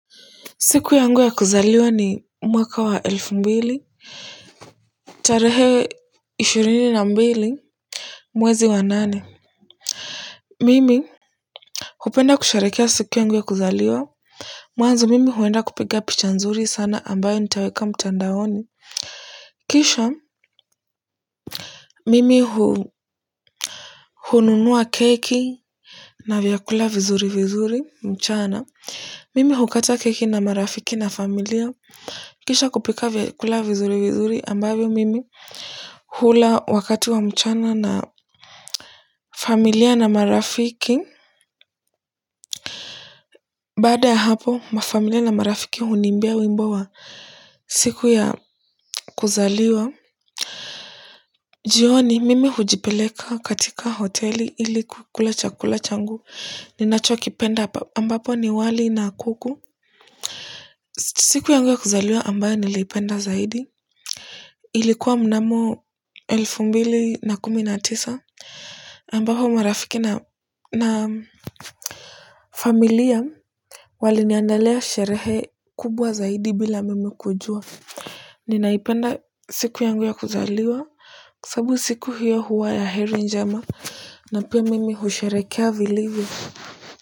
Siku yangu ya kuzaliwa ni mwaka wa elfu mbili, tarehe ishirini na mbili, mwezi wa nane. Mimi hupenda kusherekea siku yangu ya kuzaliwa mwanzo mimi huenda kupiga picha nzuri sana ambayo nitaweka mtandaoni kisha mimi hununua keki na vyakula vizuri vizuri mchana mimi hukata keki na marafiki na familia kisha kupika vyakula vizuri vizuri ambavyo mimi hula wakati wa mchana na familia na marafiki baada ya hapo ma familia na marafiki huniimbia wimbo wa siku ya kuzaliwa. Jioni mimi hujipeleka katika hoteli ili kukula chakula changu ninachokipenda ambapo ni wali na kuku siku yangu ya kuzaliwa ambayo niliipenda zaidi ilikuwa mnamo elfu mbili na kumi na tisa ambapo marafiki na familia waliniandalia sherehe kubwa zaidi bila mimi kujua ninaipenda siku yangu ya kuzaliwa sababu siku hiyo huwa ya heri njema na pia mimi husherekea vilivyo.